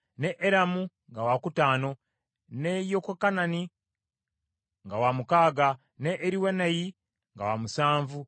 ne Eramu nga wakutaano, ne Yekokanani nga wamukaaga, ne Eriwenayi nga wa musanvu.